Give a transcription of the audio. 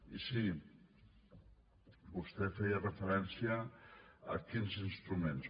i sí vostè feia referència a quins instruments